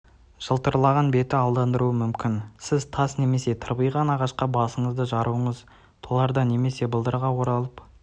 жылтыраған беті алдандыруы мүмкін сіз тас немесе тырбиған ағашқа басыңызды жаруыңыз торларда немесе балдырға оралып